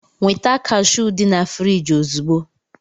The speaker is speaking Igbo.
Nweta kashụụ dị na friji ozugbo!